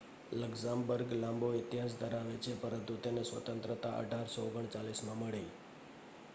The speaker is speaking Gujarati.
લક્ઝમબર્ગ લાંબો ઇતિહાસ ધરાવે છે પરંતુ તેને સ્વતંત્રતા 1839 માં મળી